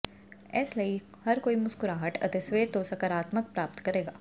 ਇਸ ਲਈ ਹਰ ਕੋਈ ਮੁਸਕੁਰਾਹਟ ਅਤੇ ਸਵੇਰ ਤੋਂ ਸਕਾਰਾਤਮਕ ਪ੍ਰਾਪਤ ਕਰੇਗਾ